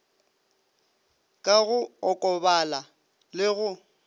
ka go okobala le go